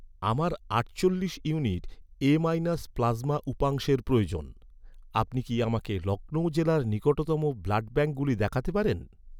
আমার আটচল্লিশ unit A minus plasma উপাংশের প্রয়োজন, আপনি কি আমাকে লখনউ জেলার নিকটতম ব্লাডব্যাঙ্কগুলি দেখাতে পারেন?